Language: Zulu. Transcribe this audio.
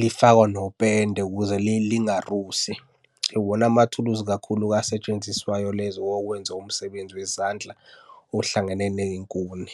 lifakwenopende ukuze lingarusi. Iwona amathuluzi kakhulu-ke asetshenziswayo lezo okwenza umsebenzi wezandla ohlangene ney'nkuni.